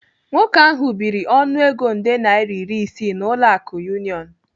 Nwoke ahu biri ọnụego nde naira iri isii n'ụlọ akụ Union.